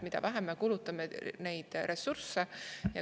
Mida vähem me kulutame neid ressursse …